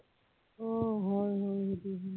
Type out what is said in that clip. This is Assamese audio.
অ হয় হয় সেইটো হয়